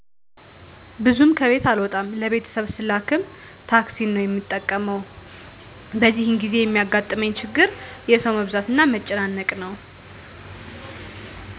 ብዙም ከቤት አልወጣም ለቤተሰብ ስላክም ታክሲን ነው የምጠቀመው በዚህን ጊዜ የሚያጋጥመኝ ችግር የሠው መብዛትና መጨናነቅ ነው